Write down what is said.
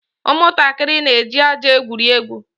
Ụmụntakịrị na-eji ájá egwuri egwu.